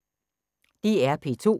DR P2